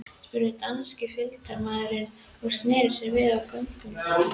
spurði danski fylgdarmaðurinn og sneri sér við á göngunni.